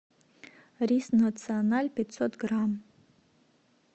рис националь пятьсот грамм